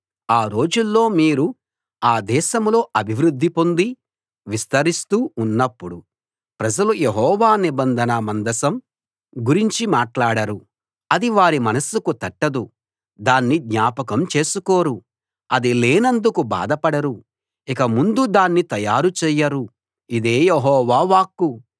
ఆ రోజుల్లో మీరు ఆ దేశంలో అభివృద్ధి పొంది విస్తరిస్తూ ఉన్నప్పుడు ప్రజలు యెహోవా నిబంధన మందసం గురించి మాట్లాడరు అది వారి మనస్సుకు తట్టదు దాన్ని జ్ఞాపకం చేసుకోరు అది లేనందుకు బాధపడరు ఇక ముందు దాన్ని తయారు చేయరు ఇదే యెహోవా వాక్కు